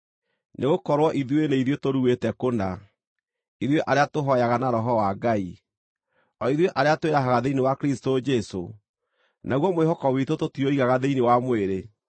Nĩgũkorwo ithuĩ nĩ ithuĩ tũruĩte kũna, ithuĩ arĩa tũhooyaga na Roho wa Ngai, o ithuĩ arĩa twĩrahaga thĩinĩ wa Kristũ Jesũ, naguo mwĩhoko witũ tũtiũigaga thĩinĩ wa mwĩrĩ,